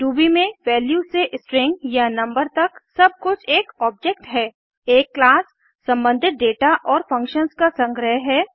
Ruby में value से string या नंबर तक सब कुछ एक ऑब्जेक्ट है एक क्लास सम्बंधित दाता और फंक्शंस का संग्रह है